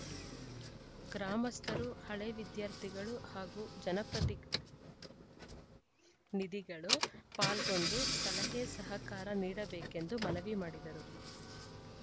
ಗ್ರಾಮಸ್ಥರು ಹಳೇ ವಿದ್ಯಾರ್ಥಿಗಳು ಹಾಗೂ ಜನಪ್ರತಿನಿಧಿಗಳು ಪಾಲ್ಗೊಂಡು ಸಲಹೆ ಸಹಕಾರ ನೀಡಬೇಕೆಂದು ಮನವಿ ಮಾಡಿದರು